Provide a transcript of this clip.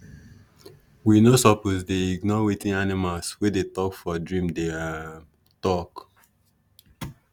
we no suppose dey ignore wetin animals wey dey talk for dream dey um talk